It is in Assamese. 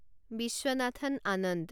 বিশ্বনাথন আনন্দ